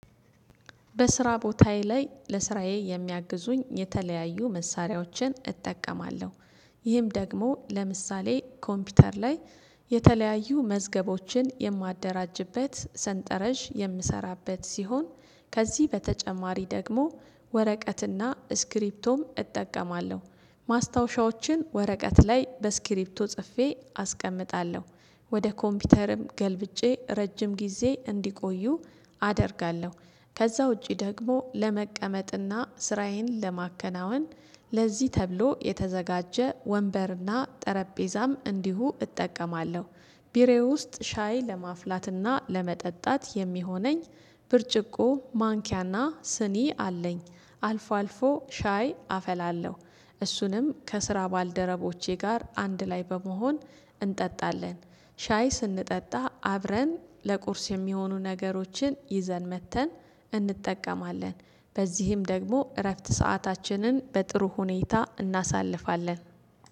በስራ ቦታዬ ላይ ለስራዬ የሚያግዙኝ የተለያዩ መሳሪያዎችን እጠቀማለሁ። ይህም ደግሞ ለምሳሌ ኮምፒውተር ላይ የተለያዩ መዝገቦችን የማደራጅበት ሰንጠረዥ የምሰራበት ሲሆን ከዚህ በተጨማሪ ደግሞ ወረቀትና ስክሪፕቶም እጠቀማለሁ። ማስታወሻዎችን ወረቀት ላይ በስክሪፕቶ ጽፌ አስቀምጣለሁ ወደ ኮምፒውተርም ገልብጬ ረጅም ጊዜ እንዲቆዩ አደርጋለሁ። ከዛ ውጪ ደግሞ ለመቀመጥና ስራዬን ለማከናወን ለዚህ ተብሎ የተዘጋጀ ወንበርና ጠረጴዛም እንዲሁ እጠቀማለሁ። ቢሮየ ውስጥ ሻይ ለማፍላትና ለመጠጣት የሚሆነኝ ብርጭቆ ማንኪያና ስኒ አለኝ። አልፎ አልፎ ሻይ አፈላለሁ እሱንም ከስራ ባልደረቦቼ ጋር አንድ ላይ በመሆን እንጠጣለን። ሻይ ስንጠጣ አብረን ለቁርስ የሚሆኑ ነገሮችን ይዘን መጥተን እንጠቀማለን። በዚህም ደግሞ እረፍት ሰአታችንን በጥሩ ሁኔታ እናሳልፋለን